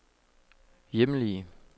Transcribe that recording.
hjemlige